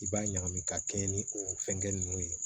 I b'a ɲagami ka kɛɲɛ ni o fɛngɛn ninnu ye